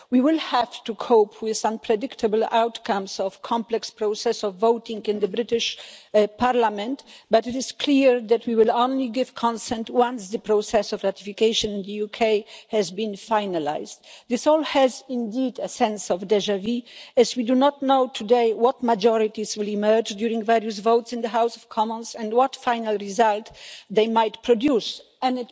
We will have to cope with unpredictable outcomes of the complex process of voting in the British parliament, but it is clear that we will only give consent once the process of ratification in the UK has been finalised. This all has indeed a sense of déjà vu as we do not know today what majorities will emerge during various votes in the House of Commons, and what final result they might produce, and